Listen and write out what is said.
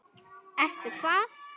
Ertu hvað?